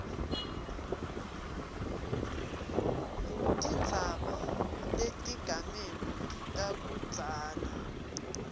tindzaba tetigameko takudzala